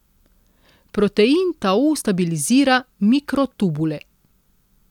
Protein tau stabilizira mikrotubule.